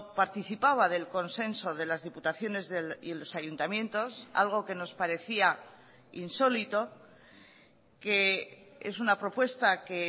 participaba del consenso de las diputaciones y los ayuntamientos algo que nos parecía insólito que es una propuesta que